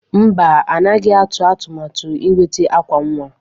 Mba, anaghị atụ atụmatụ ịnweta akwa nwa.